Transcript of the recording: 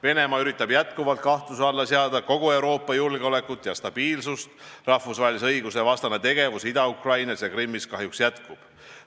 Venemaa üritab jätkuvalt kahtluse alla seada kogu Euroopa julgeolekut ja stabiilsust, rahvusvahelise õiguse vastane tegevus Ida-Ukrainas ja Krimmis kahjuks jätkub.